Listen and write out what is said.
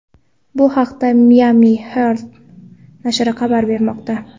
Bu haqda Miami Herald nashri xabar bermoqda .